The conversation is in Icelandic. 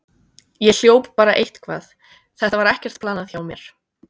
Ég hljóp bara eitthvað, þetta var ekkert planað hjá mér.